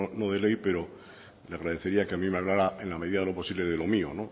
no de ley pero le agradecería que a mí me hablara en la medida de lo posible de lo mío